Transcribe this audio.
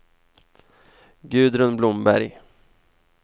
Gudrun Blomberg